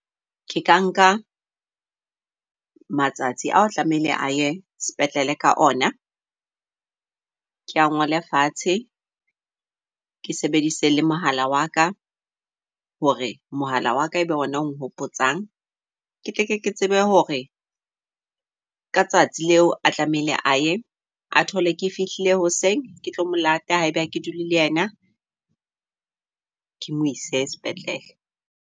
Ke ka nka matsatsi ao tlamehile a ye sepetlele ka ona, ke a ngole fatshe ke sebedise le mohala waka. Hore mohala waka ebe ona ong hopotsang. Ketle ke tsebe hore ka tsatsi leo a tlamehile a ye. A thole ke fihlile hoseng, ketlo mo lata ha ebe ha ke dule le yena. Kemo ise sepetlele.